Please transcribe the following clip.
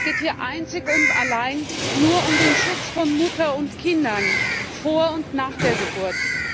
Und es geht hier einzig und allein nur um den Schutz von Mutter und Kindern, vor und nach der Geburt.